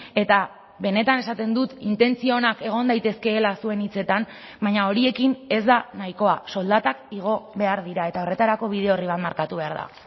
eta benetan esaten dut intentzio onak egon daitezkeela zuen hitzetan baina horiekin ez da nahikoa soldatak igo behar dira eta horretarako bide orri bat markatu behar da